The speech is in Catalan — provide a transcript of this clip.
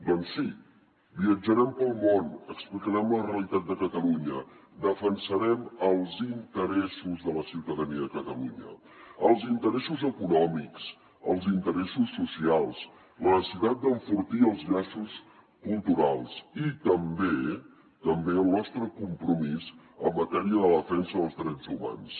doncs sí viatjarem pel món explicarem la realitat de catalunya defensarem els interessos de la ciutadania de catalunya els interessos econòmics els interessos socials la necessitat d’enfortir els llaços culturals i també també el nostre compromís en matèria de defensa dels drets humans